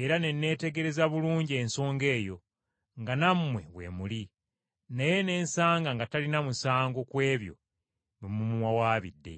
era ne neetegereza bulungi ensonga eyo nga nammwe we muli, naye ne nsanga nga talina musango ku ebyo bye mumuwawaabidde.